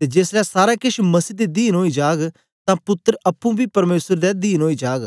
ते जेसलै सारा केछ मसीह दे दीन ओई जाग तां पुत्तर अप्पुं बी परमेसर दे दीन ओई जाग